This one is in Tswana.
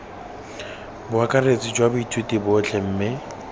boakaretsi jwa baithuti botlhe mme